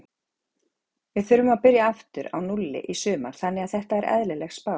Við þurfum að byrja aftur á núlli í sumar þannig að þetta er eðlileg spá.